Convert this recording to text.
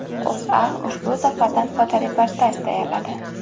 O‘zA ushbu safardan fotoreportaj tayyorladi .